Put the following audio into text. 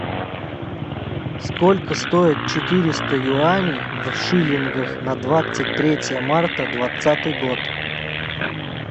сколько стоит четыреста юаней в шиллингах на двадцать третье марта двадцатый год